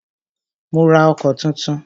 Mó rá ọkọ̀ túntún.